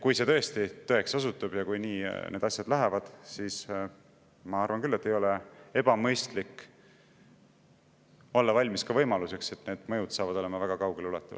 Kui see tõesti tõeks osutub ja nii need asjad lähevad, siis ma arvan küll, et ei ole ebamõistlik olla valmis võimaluseks, et see mõju on väga kaugeleulatuv.